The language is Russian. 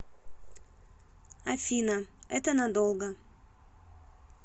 афина это надолго